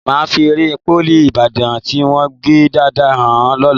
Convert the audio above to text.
Màá fi ère Pólì Ìbàdàn tí wọ́n gbẹ́ dáadáa hàn ẹ lọ́la